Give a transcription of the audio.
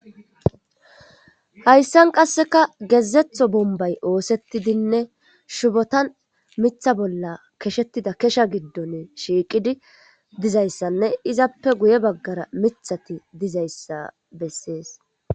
hayssan qasseka gezetho bombay oosettidinne shubotan mitha bolla keshettida kesha giddon shiiqidi dizayssanne izappe guye baggara mithati dizayssa bessees